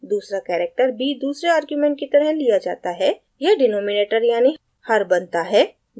दूसरा character b दूसरे argument की तरह लिया जाता है; यह denominator यानि हर बनता है